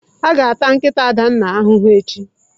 A ga-ata nkịta Adanna ahụhụ echi.